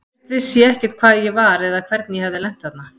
Fyrst vissi ég ekkert hvar ég var eða hvernig ég hafði lent þarna.